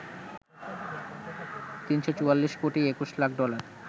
৩৪৪ কোটি ২১ লাখ ডলার